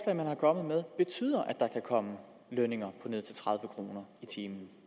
man er kommet med betyder at der kan komme lønninger på ned til tredive kroner i timen